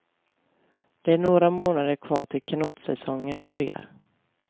Det är några månader kvar till kanotsäsongen börjar.